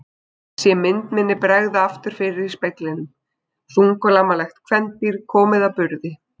Sé mynd minni bregða aftur fyrir í speglinum: Þunglamalegt kvendýr komið að burði.